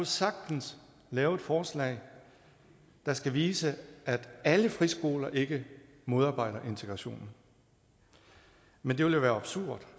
sagtens lave et forslag der skulle vise at alle friskoler ikke modarbejder integrationen men det ville være absurd